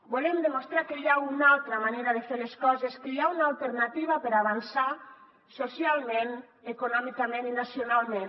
volem demostrar que hi ha una altra manera de fer les coses que hi ha una alternativa per avançar socialment econòmicament i nacionalment